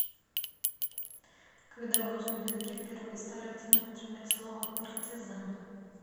когда в русском языке впервые стали активно употреблять слово партизан